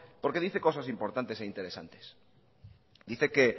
porque dice cosas importantes e interesantes dice que